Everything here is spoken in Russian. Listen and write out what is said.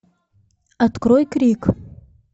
открой крик